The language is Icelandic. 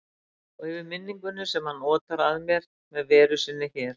Og yfir minningunni sem hann otar að mér með veru sinni hérna.